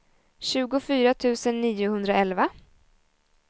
tjugofyra tusen niohundraelva